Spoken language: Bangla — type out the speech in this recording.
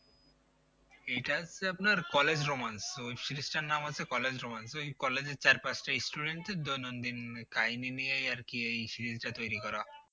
এটা হচ্ছে আপনার college romance web series টার নাম হচ্ছে college romance ওই college এর চার পাঁচটা student দেড় দৈনন্দিন কাহিনী নিয়েই আরকি এই series টা তৈরি করা